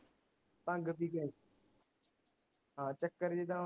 ਭੰਗ ਪੀ ਕੇ ਹਾਂ ਚੱਕਰ ਜਿਦਾ